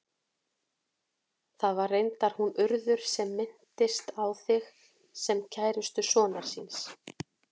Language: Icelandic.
Það var reyndar hún Urður sem minntist á þig, sem kærustu sonar síns.